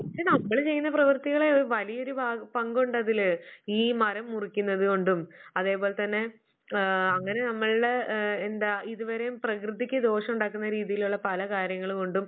പക്ഷേ, നമ്മള് ചെയ്യുന്ന പ്രവർത്തികള് വലിയൊരു പങ്കുണ്ട് അതില്. ഈ മരം മുറിക്കുന്നത് കൊണ്ടും അതേപോലെ തന്നെ ആഹ് അങ്ങനെ നമ്മള് എന്താ ഇതുവരെയും പ്രകൃതിക്ക് ദോഷം ഉണ്ടാകുന്ന രീതിയിലുള്ള പല കാര്യങ്ങൾ